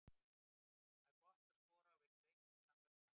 Það var gott að skora og vinna leikinn á sannfærandi hátt.